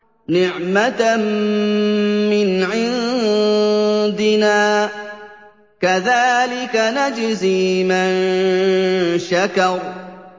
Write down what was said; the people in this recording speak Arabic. نِّعْمَةً مِّنْ عِندِنَا ۚ كَذَٰلِكَ نَجْزِي مَن شَكَرَ